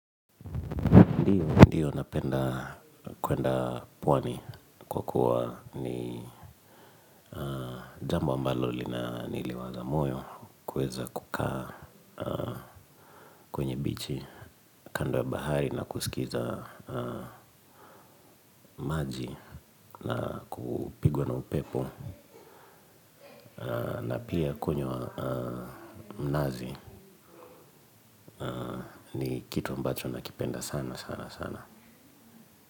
Ndiyo napenda kuenda pwani kwa kuwa ni jambo ambalo lina niliwaza moyo kuweza kukaa kwenye bichi kando ya bahari na kusikiza maji na kupigwa na upepo na pia kunywa mnazi kitu ambacho nakipenda sana sana sana.